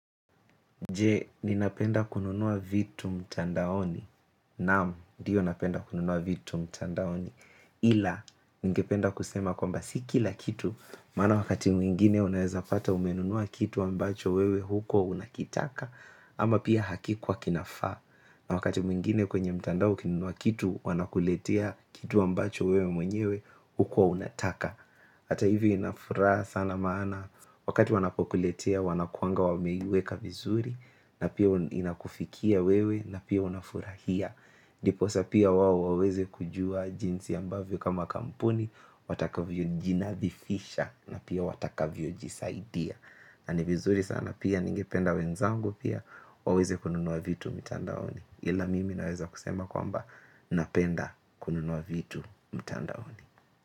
Je ninapenda kununua vitu mtandaoni Naam, ndiyo napenda kununua vitu mtandaoni. Ila, ningependa kusema kwamba si kila kitu, maana wakati mwingine unaezapata umenunua kitu ambacho wewe hukua unakitaka, ama pia hakikuwa kinafaa. Na wakati mwingine kwenye mtandao ukinunua kitu, wanakuletea kitu ambacho wewe mwenyewe hukua unataka. Hata hivi inafuraha sana maana, wakati wanapokuletea wanakuanga wameiweka vizuri, na pia inakufikia wewe na pia unafurahia ndiposa pia wao hawawezi kujua jinsi ambavyo kama kampuni watakavyo jinathifisha na pia watakavyo jisaidia na ni vizuri sana pia ningependa wenzangu pia waweze kununua vitu mtandaoni ila mimi naweza kusema kwamba napenda kununua vitu mtandaoni.